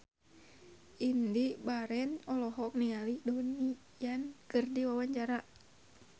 Indy Barens olohok ningali Donnie Yan keur diwawancara